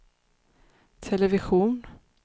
television